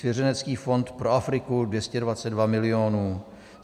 Svěřenecký fond pro Afriku - 222 milionů.